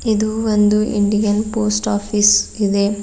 ಇದು ಒಂದು Indian post office ಇದೆ.